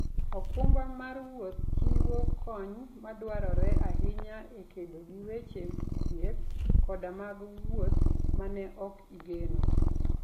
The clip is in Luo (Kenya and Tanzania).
okumba mar wuoth chiwo kony madwarore ahinya e kedo gi weche thieth koda mag wuoth ma ne ok igeno.